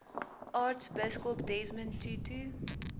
aartsbiskop desmond tutu